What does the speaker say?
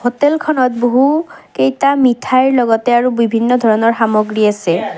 হোটেলখনত বহু কেইটা মিঠাইৰ লগতে আৰু বিভিন্ন ধৰণৰ সামগ্ৰী আছে।